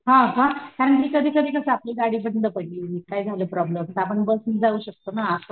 हा का आणखी कधी कधी कशी आपली गाडी बंद पडली काय झाला प्रॉब्लम तर आपण बस नि जाऊ शकतो ना